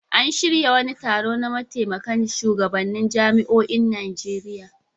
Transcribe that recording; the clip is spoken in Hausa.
An shirya wani taro na mataimakan shugabannin jami'oin Najeriya.